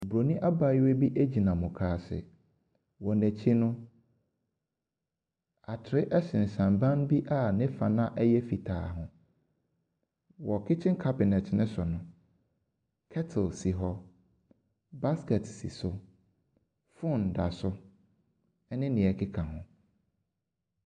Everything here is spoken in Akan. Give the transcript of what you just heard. Obronin abaayewa bi gyina mukaase, wɔ na nakyi no, atere sensɛn ban bi a ne no ayɛ fitaa, Wɔ kitche cabinet no so no, kettle si hɔ, busket si so, phone da so, ne deɛ ɛkeka ho.